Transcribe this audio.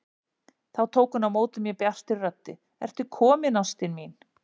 Þá tók hún á móti mér bjartri röddu: Ertu kominn ástin mín!